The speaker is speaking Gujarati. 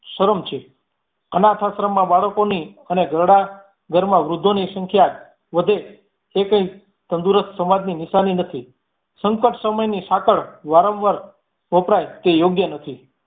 શરમ છે. અનાથાશ્રમ મા બાળકોની અને ઘરડા ઘરમા વૃદ્ધોની સંખ્યા વધે એ કઈ તંદુરસ્ત સમાજની નિશાની નથી સંકટ સમયની સાંકળ વારંવાર વપરાઈ તે યોગ્ય નથી